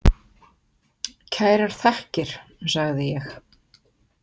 Kærar þakkir, sagði ég.